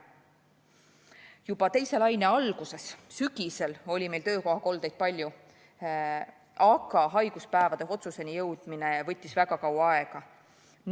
Juba teise laine alguses, sügisel oli meil töökohakoldeid palju, aga haiguspäevade hüvitamise otsuseni jõudmine võttis väga kaua aega.